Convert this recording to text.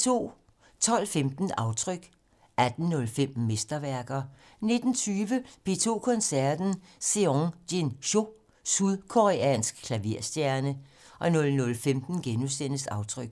12:15: Aftryk 18:05: Mesterværker 19:20: P2 Koncerten - Seong-Jin Cho - sydkoreansk klaverstjerne 00:15: Aftryk *